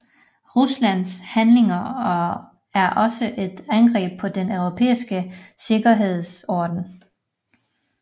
Ruslands handlinger er også et angreb på den europæiske sikkerhedsorden